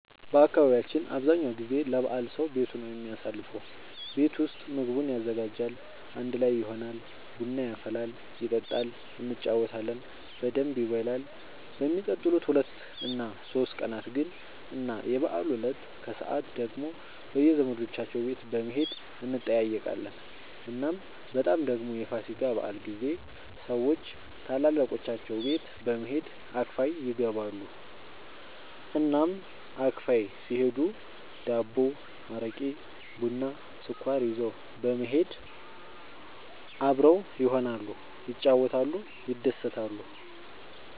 በአካባቢያችን አብዛኛው ጊዜ ለበዓል ሰዉ ቤቱ ነው የሚያሳልፈው። ቤት ውስጥ ምግቡን ያዘጋጃል፣ አንድ ላይ ይሆናል፣ ቡና ይፈላል ይጠጣል እንጫወታለን በደንብ ይበላል በሚቀጥሉት ሁለት እና ሶስት ቀናት ግን እና የበዓሉ እለት ከሰዓት ደግሞ በየዘመዶቻቸው ቤት በመሄድ እንጠያየቃለን። እናም በጣም ደግሞ የፋሲካ በዓል ጊዜ ሰዎች ታላላቆቻቸው ቤት በመሄድ አክፋይ ይገባሉ። እናም አክፋይ ሲሄዱ ዳቦ፣ አረቄ፣ ቡና፣ ስኳር ይዘው በመሄድ አብረው ይሆናሉ፣ ይጫወታሉ፣ ይደሰታሉ።